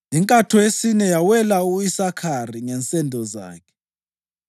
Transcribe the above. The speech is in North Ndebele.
Inkatho yesine yawela u-Isakhari ngensendo zakhe.